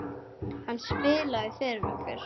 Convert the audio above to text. Hann spilaði fyrir okkur!